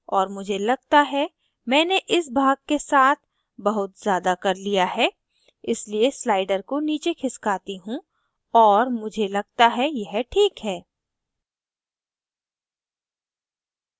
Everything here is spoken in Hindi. और मुझे लगता है मैंने इस भाग के साथ बहुत ज़्यादा कर लिया है इसलिए slider को नीचे खिसकाती हूँ और मुझे लगता है यह ठीक है